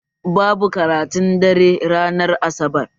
Babu karatun dare ranar asabar